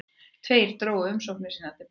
Tveir drógu umsóknir sínar til baka